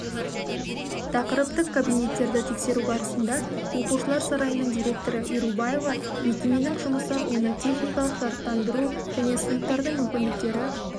тақырыптық кабинеттерді тексеру барысында оқушылар сарайының директоры ерубаева мекеменің жұмысы оны техникалық жарақтандыру және сыныптардың мүмкіндіктері